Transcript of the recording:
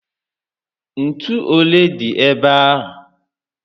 Ntú olé dị ébé a?